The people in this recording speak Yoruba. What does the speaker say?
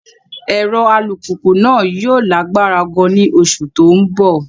Ẹ̀rọ alùpùpù náà yóò lágbára gan-an ní oṣù tó ń bọ̀.